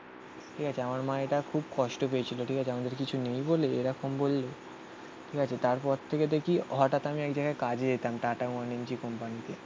ঠিক আছে. আমার মা এটা খুব কষ্ট পেয়েছিল. ঠিক আছে. আমাদের কিছু নেই বলে এরকম বললে? ঠিক আছে. তারপর থেকে দেখি হঠাৎ আমি এক জায়গায় কাজে যেতাম. টাটা One MG কোম্পানিতে